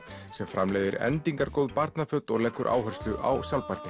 sem framleiðir endingargóð barnaföt og leggur áherslu á sjálfbærni